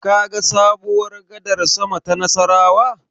Kaga sabuwar gadar sama ta Nassarawa?